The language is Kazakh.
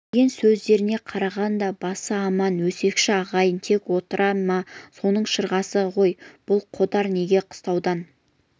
естіген сөздеріне қарағанда басы аман өсекші-ағайын тек отыра ма соның шырғасы ғой бұл қодар неге қыстаудан